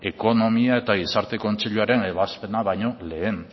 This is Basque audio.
ekonomia eta gizarte kontseiluaren ebazpena baino lehen